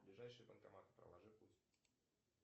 ближайшие банкоматы проложи путь